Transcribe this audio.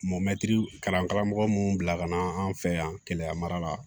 Mɔmɛtiri kalan karamɔgɔ mun bila ka na an fɛ yan keleya mara la